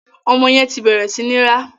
Ọmọ yẹn ti bẹ̀rẹ̀ sí ní rá.